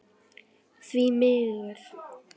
Því miður, segir Andri Þór.